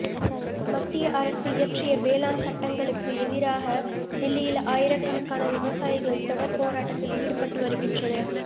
மத்திய அரசு இயற்றிய வேளாண் சட்டங்களுக்கு எதிராக தில்லியில் ஆயிரக்கணக்கான விவசாயிகள் தொடா் போராட்டத்தில் ஈடுபட்டு வருகின்றனா்